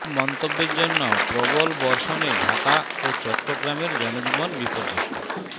সব মন্তব্যের জন্য প্রবল বর্ষণে ঢাকা ও চট্টগ্রামের জনজীবন বিপর্যস্ত